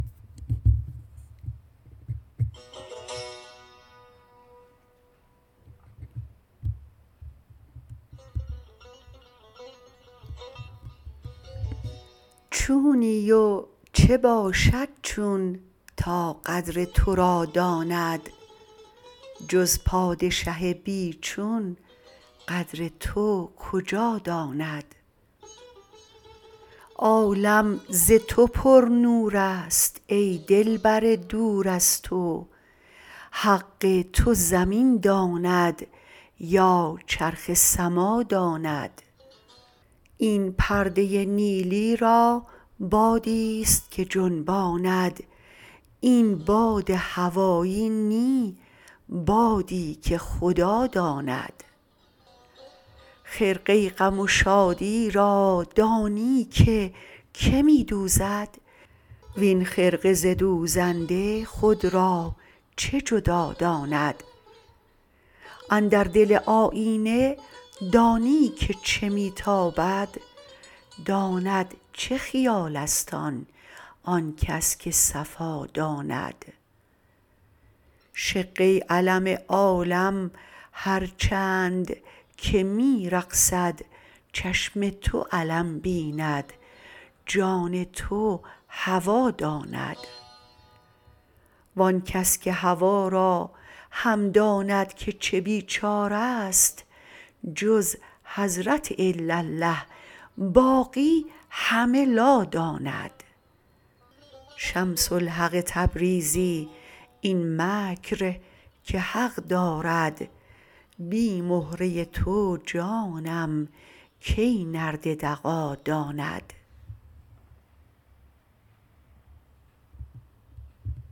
چونی و چه باشد چون تا قدر تو را داند جز پادشه بی چون قدر تو کجا داند عالم ز تو پرنور ست ای دلبر دور از تو حق تو زمین داند یا چرخ سما داند این پرده نیلی را بادی ست که جنباند این باد هوایی نی بادی که خدا داند خرقه غم و شادی را دانی که که می دوزد وین خرقه ز دوزنده خود را چه جدا داند اندر دل آیینه دانی که چه می تابد داند چه خیال است آن آن کس که صفا داند شقه علم عالم هر چند که می رقصد چشم تو علم بیند جان تو هوا داند وان کس که هوا را هم داند که چه بیچاره ست جز حضرت الاالله باقی همه لا داند شمس الحق تبریزی این مکر که حق دارد بی مهره تو جانم کی نرد دغا داند